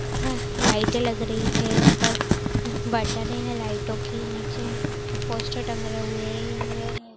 हां लाइटें लग रही है ऊपर बटने हैं लाइटों की नीचे पोस्टर टंग रहे हुए हैं।